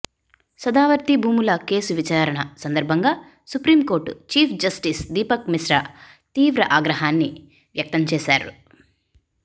సదావర్తి భూముల కేసు విచారణ సందర్భంగా supreme court chief justice Deepak Mishra తీవ్ర ఆగ్రహాన్ని వ్యక్తం చేశారు